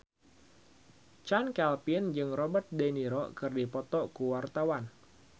Chand Kelvin jeung Robert de Niro keur dipoto ku wartawan